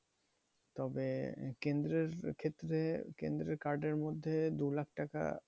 তবে কেন্দ্রের ক্ষেত্রে কেন্দ্রের card এর মধ্যে দু লাখ টাকা